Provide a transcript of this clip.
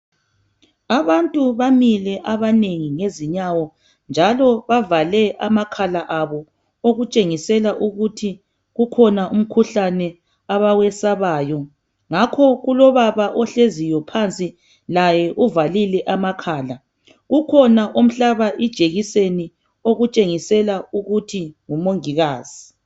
Abantu bamile abanengi ngezinyawo njalo bavale amakhala abo okutshengisela ukuthi kukhona umkhuhlane abawesabayo. Ngakho kulobaba ohleziyo phansi laye uvalile amakhala. Kukhona omhlaba ijekiseni okutshengisela ukuthi ngomongikazi.